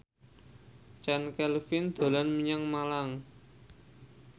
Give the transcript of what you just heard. Chand Kelvin dolan menyang Malang